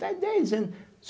Faz dez anos.